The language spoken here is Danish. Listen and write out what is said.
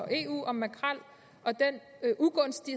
og eu om makrel og den ugunst